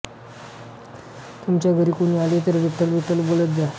तुमच्या घरी कुणी आले तर विठ्ठल विठ्ठल बोलत जा